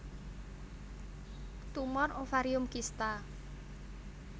Tumor ovarium Kista